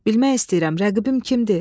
Bilmək istəyirəm rəqibim kimdir?